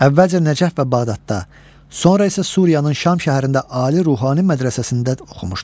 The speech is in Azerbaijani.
Əvvəlcə Nəcəf və Bağdadda, sonra isə Suriyanın Şam şəhərində ali ruhani mədrəsəsində oxumuşdu.